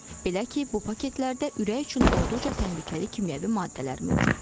Belə ki, bu paketlərdə ürək üçün olduqca təhlükəli kimyəvi maddələr mövcuddur.